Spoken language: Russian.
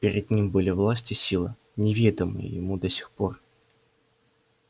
перед ним были власть и сила неведомые ему до сих пор